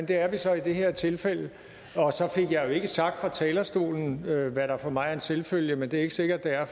det er vi så i det her tilfælde og så fik jeg jo ikke sagt fra talerstolen at enhedslisten hvad der for mig er en selvfølge men det er ikke sikkert det er